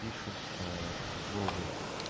пишется слово